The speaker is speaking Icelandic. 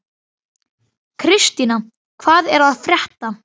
Kristína, hvað er að frétta?